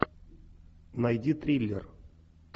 найди триллер